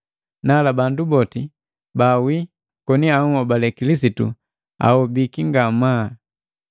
Nala bandu boti baawii koni ahobale Kilisitu ahobiki ngamaa.